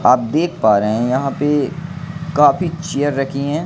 आप देख पा रहे हैं यहां पे काफी चेयर रखी है।